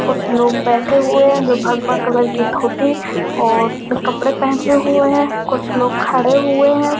कुछ लोग बैठे हुए है जो भगवा कलर की धोती और कपड़े पहने हुए हैं। कुछ लोग खड़े हुए हैं।